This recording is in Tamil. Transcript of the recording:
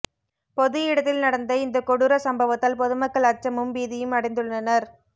பொது இடத்தில் நடந்த இந்த கொடூர சம்பவத்தால் பொதுமக்கள் அச்சமும் பீதியும் அடைந்துள்ளனர்